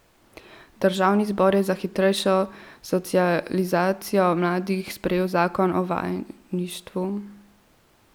Državni zbor je za hitrejšo socializacijo mladih sprejel zakon o vajeništvu.